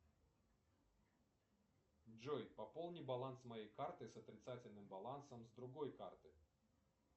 джой пополни баланс моей карты с отрицательным балансом с другой карты